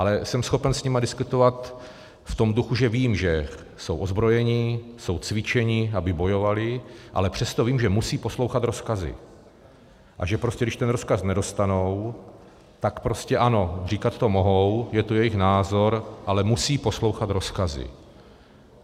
Ale jsem schopen s nimi diskutovat v tom duchu, že vím, že jsou ozbrojeni, jsou cvičeni, aby bojovali, ale přesto vím, že musí poslouchat rozkazy a že prostě když ten rozkaz nedostanou, tak prostě ano, říkat to mohou, je to jejich názor, ale musí poslouchat rozkazy.